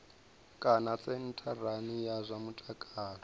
kana sentharani ya zwa mutakalo